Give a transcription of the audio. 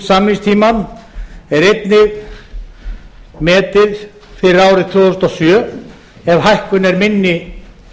samningstímann er einnig metið fyrir árið tvö þúsund og sjö ef hækkun er minni